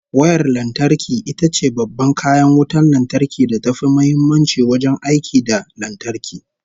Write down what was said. Wayar lantarki itace babban kayan wutan lantarki da tafi muhimmanci wajen aiki da lantarki